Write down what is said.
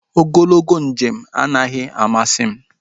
Ogologo njem anaghị amasị m